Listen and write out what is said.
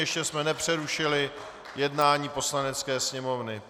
Ještě jsme nepřerušili jednání Poslanecké sněmovny.